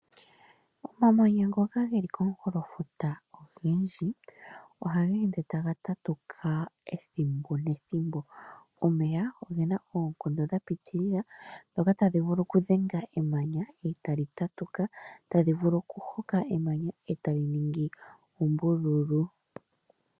Omamanya ngoka geli komukulofuta ogendji ohaga ende taga tatuka ethimbo nethimbo. Omeya ogena oonkondo dha pitilila ndhoka tadhi vulu oku dhenga emanya etali tatuka , tadhi vulu oku hoka emanya etali ningi ombululu.